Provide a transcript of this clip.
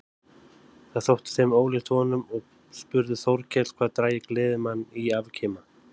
Það þótti þeim ólíkt honum og spurði Þórkell hvað drægi gleðimann í afkima.